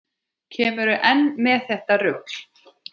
Kemurðu enn með þetta rugl!